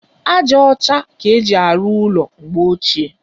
Aja ọcha ka éjị arụ ụlọ mgbe ochie.